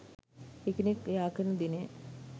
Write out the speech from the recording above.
එකිනෙක යාකරන දිනය